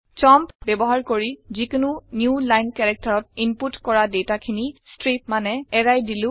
champ ব্যৱহাৰ কৰি যিকোনো নিউ লাইন characterত ইনপুত কৰা দাতা খিনি স্ত্ৰীপ মানে এৰাই দিলো